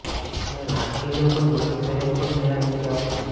અને નાસ્તિને પણ મારી સહેજ પણ દયા નથી આવતી